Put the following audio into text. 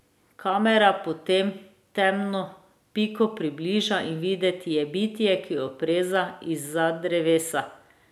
Kamera potem temno piko približa in videti je bitje, ki opreza izza drevesa.